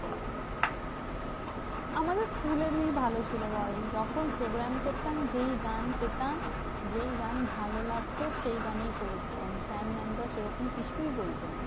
আমাদের school এরই ভালো ছিল বল? যখন program করতাম যেই গান পেতাম, যেই গান ভালো লাগতো, সেই গানেই করে দিতাম। sir mam রা সেরকম কিছুই বলতো না।